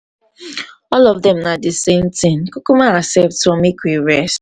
um all of dem na the same thing. kukuma accept one make we rest.